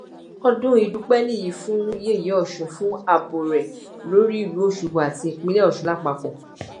ọdún ìdúpẹ nìyí fún yẹyẹ ọsùn fún ààbò rẹ lórí ìlú ọṣọgbó àti ìpínlẹ ọsùn lápapọ